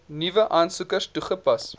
nuwe aansoekers toegepas